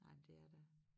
Ej men det er da